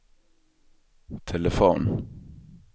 telefon